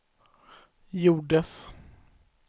gjordes